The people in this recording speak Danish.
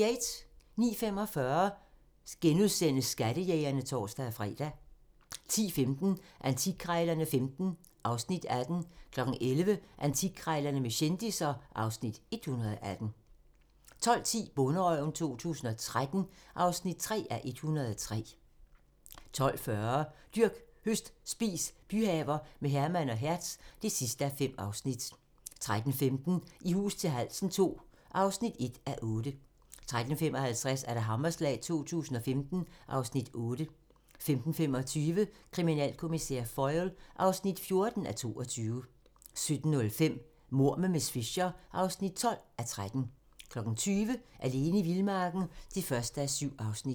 09:45: Skattejægerne *(tor-fre) 10:15: Antikkrejlerne XV (Afs. 18) 11:00: Antikkrejlerne med kendisser (Afs. 118) 12:10: Bonderøven 2013 (3:103) 12:40: Dyrk, høst, spis - byhaver med Herman og Hertz (5:5) 13:15: I hus til halsen II (1:8) 13:55: Hammerslag 2015 (Afs. 8) 15:25: Kriminalkommissær Foyle (14:22) 17:05: Mord med miss Fisher (12:13) 20:00: Alene i vildmarken (1:7)